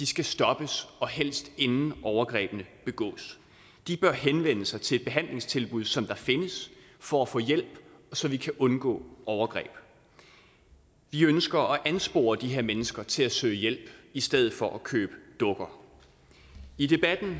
skal stoppes og helst inden overgrebene begås de bør henvende sig til et behandlingstilbud som der findes for at få hjælp så vi kan undgå overgreb vi ønsker at anspore de her mennesker til at søge hjælp i stedet for at købe dukker i debatten